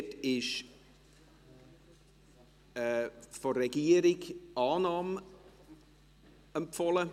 : Dort ist von der Regierung die Annahme empfohlen.